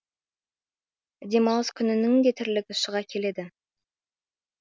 демалыс күнінің де тірлігі шыға келеді